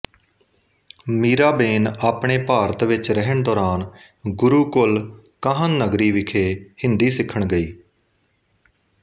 ਮੀਰਾਬੇਨ ਆਪਣੇ ਭਾਰਤ ਵਿੱਚ ਰਹਿਣ ਦੌਰਾਨ ਗੁਰੂਕੁਲ ਕਾਹਨਗਰੀ ਵਿਖੇ ਹਿੰਦੀ ਸਿੱਖਣ ਗਈ